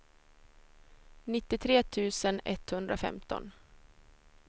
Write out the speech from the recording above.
nittiotre tusen etthundrafemton